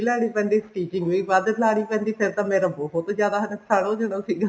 ਵੀ ਲੈਣੀ ਪੈਂਦੀ stitching ਵੀ ਵੱਧ ਲਾਨੀ ਪੈਂਦੀ ਫੇਰ ਤਾਂ ਮੇਰਾ ਬਹੁਤ ਜਿਆਦਾ ਨੁਕਸਾਨ ਹੋ ਜਾਂਦਾ ਸੀਗਾ